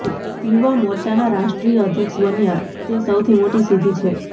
યુવા મોરચાના રાષ્ટ્રીય અધ્યક્ષ બન્યા તે સૌથી મોટી સિદ્ધી છે